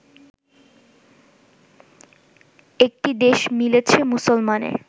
একটি দেশ মিলেছে মুসলমানের